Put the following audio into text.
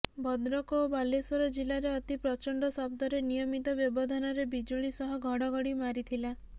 ଭଦ୍ରକ ଓ ବାଲେଶ୍ୱର ଜିଲ୍ଲାରେ ଅତି ପ୍ରଚଣ୍ଡ ଶବ୍ଦରେ ନିୟମିତ ବ୍ୟବଧାନରେ ବିଜୁଳି ସହ ଘଡ଼ଘଡ଼ି ମାରିଥିଲା